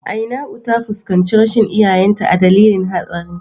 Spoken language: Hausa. Ainau ta fuskanci rashin iyayenta a dalilin hatsarin.